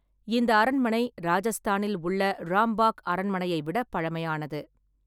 இந்த அரண்மனை ராஜஸ்தானில் உள்ள ராம்பாக் அரண்மனையை விடப் பழமையானது.